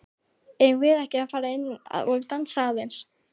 Eigum við ekki að fara inn og dansa aðeins?